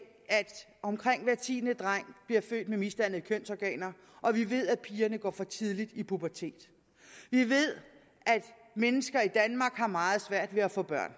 omkring hver tiende dreng bliver født med misdannede kønsorganer og vi ved at pigerne går for tidligt i puberteten vi ved at mennesker i danmark har meget svært ved at få børn